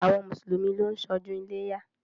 Àwọn mùsùlùmí ló ń ṣọdún iléyá.